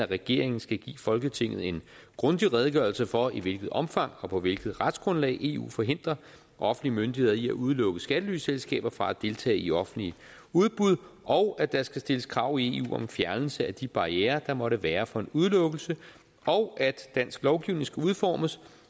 regeringen skal give folketinget en grundig redegørelse for i hvilket omfang og på hvilket retsgrundlag eu forhindrer offentlige myndigheder i at udelukke skattelyselskaber fra at deltage i offentlige udbud og at der skal stilles krav i eu om fjernelse af de barrierer der måtte være for en udelukkelse og at dansk lovgivning skal udformes